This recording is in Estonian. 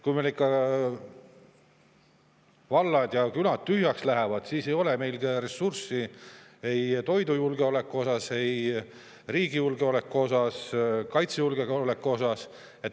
Kui meil ikka vallad ja külad tühjaks lähevad, siis ei ole meil ressursse ei toidujulgeolekuks ega üldse riigi julgeolekuks, riigi kaitseks.